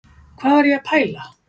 Hvað var ég að pæla?